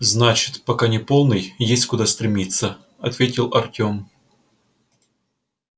значит пока не полный есть куда стремиться ответил артём